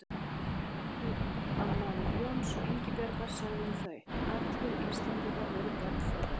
Einn samtímamaður Jóns og Ingibjargar sagði um þau: Allir Íslendingar voru börn þeirra